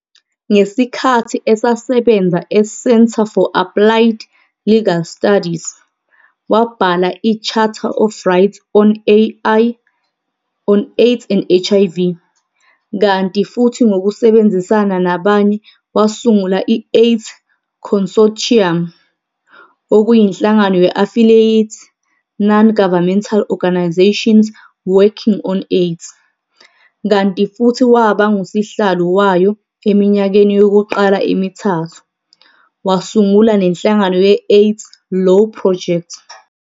Ngesikhathi esasebenza e-Centre for Applied Legal Studies, wabhala i-Charter of Rights on Ai and HIV, kanti futhi ngokusebenzisana nabanye wasungula i-AIDS Consortium, okuyinhlangano ye-affiliate non-governmental organisations working on AIDS, kanti futhi waba ngusihlalo wayo eminyakeni yokuqala emithathu, wasungula nenhlangano ye-AIDS Law Project.